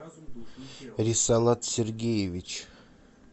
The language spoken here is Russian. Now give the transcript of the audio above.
рисалат сергеевич